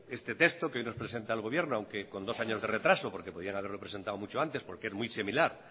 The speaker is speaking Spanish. este texto que hoy nos presenta el gobierno aunque con dos años de retraso porque podían haberlo mucho antes porque es muy similar